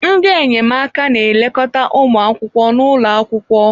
Ndị enyemaka na-elekọta ụmụ akwụkwọ n'ụlọ akwụkwọ.